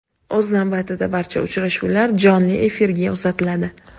O‘z navbatida barcha uchrashuvlar jonli efirga uzatiladi.